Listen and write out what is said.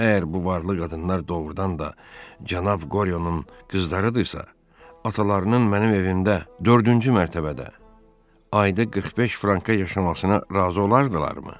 Əgər bu varlı qadınlar doğurdan da cənab Qoryonun qızlarıdırsa, atalarının mənim evimdə dördüncü mərtəbədə ayda 45 franka yaşamasına razı olardılarmı?